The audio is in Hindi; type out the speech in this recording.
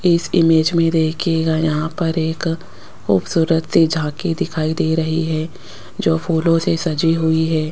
इस इमेज में देखिएगा यहां पर एक खूबसूरत सी झांकी दिखाई दे रही है जो फूलों से सजी हुई है।